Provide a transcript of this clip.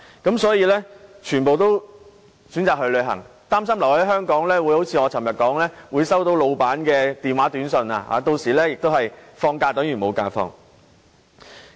因此，人人也選擇去旅行，擔心留在香港就會如我昨天所言般收到老闆的電話、短訊，令假期有等於無。